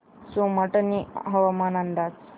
सोमाटणे हवामान अंदाज